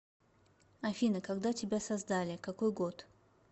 афина когда тебя создаликакой год